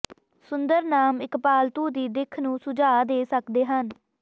ਸੁੰਦਰ ਨਾਮ ਇੱਕ ਪਾਲਤੂ ਦੀ ਦਿੱਖ ਨੂੰ ਸੁਝਾਅ ਦੇ ਸਕਦੇ ਹਨ